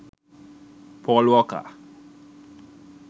paul walker